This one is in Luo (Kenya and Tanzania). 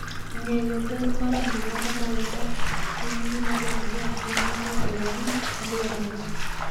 Ng'eyo ber mar alwora ma wadakie en gima dwarore ahinya mondo warit alworawa.